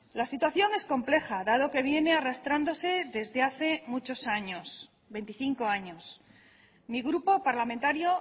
la situación es compleja dado que viene arrastrándose desde hace muchos años veinticinco años mi grupo parlamentario